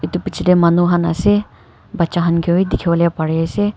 itu piche tey manu han ase bacha han ke wi dikhiwole pariase.